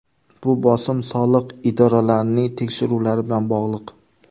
Bu bosim soliq idoralarining tekshiruvlari bilan bog‘liq.